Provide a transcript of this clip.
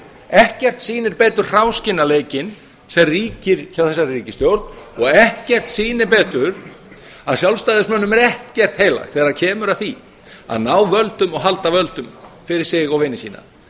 ekkert sýnir betur hráskinnaleikinn sem ríkir hjá þessari ríkisstjórn og ekkert sýnir betur að sjálfstæðismönnum er ekkert heilagt þegar kemur að því að ná völdum og halda völdum fyrir sig og vini sína